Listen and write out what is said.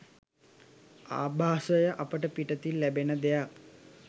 ආභාසය අපට පිටතින් ලැබෙන දෙයක්